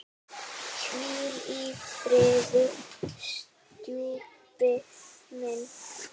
Hvíl í friði, stjúpi minn.